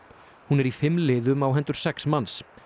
hún er í fimm liðum á hendur sex manns